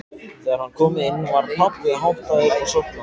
Þegar hann kom inn var pabbi háttaður og sofnaður.